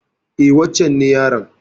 E, wancen ne yaron.